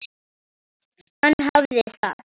Hann hafði það.